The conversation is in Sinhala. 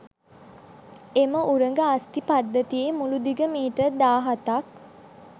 එම උරග අස්ථි පද්ධතියේ මුළු දිග මීටර් දාහතක්